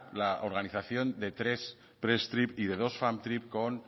la organización de tres press trip y de dos fam trip con